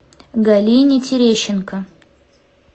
галине терещенко